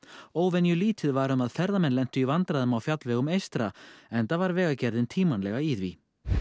óvenju lítið var um að ferðamenn lentu í vandræðum á fjallvegum eystra enda var Vegagerðin tímanlega í því